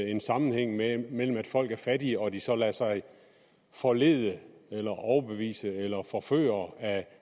en sammenhæng mellem mellem at folk er fattige og at de så lader sig forlede eller overbevise eller forføre af